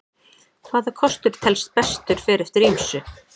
Hvaða kostur telst bestur fer eftir ýmsu.